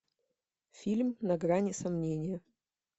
фильм на грани сомнения